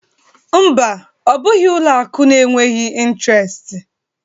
Mba, ọ bụghị ụlọ akụ na-enweghị intiresti